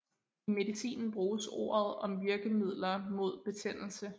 I medicinen bruges ordet om virkemidler mod betændelse